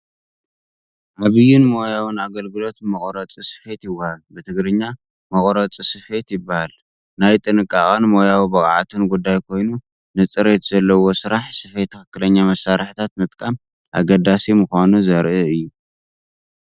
ዓብይን ሞያውን ኣገልግሎት ብመቑረጺ ስፌት ይወሃብ። ብትግርኛ " መቑረጺ ስፌት" ይበሃል። ናይ ጥንቃቐን ሞያዊ ብቕዓትን ጉዳይ ኮይኑ፡ ንጽሬት ዘለዎ ስራሕ ስፌት ትኽክለኛ መሳርሒታት ምጥቃም ኣገዳሲ ምዃኑ ዘርኢ እዩ።